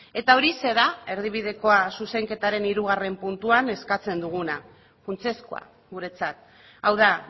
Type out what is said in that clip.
eta horixe da erdibidekoaren zuzenketaren hirugarrena puntuan eskatzen duguna funtsezkoa guretzat hau da